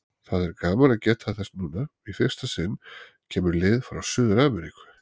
Það er gaman að geta þess að núna, í fyrsta sinn, kemur lið frá Suður-Ameríku.